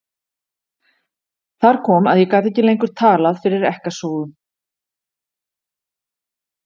Þar kom að ég gat ekki lengur talað fyrir ekkasogum.